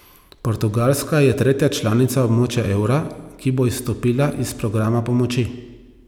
Portugalska je tretja članica območja evra, ki bo izstopila iz programa pomoči.